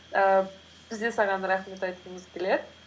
ііі біз де саған рахмет айтқымыз келеді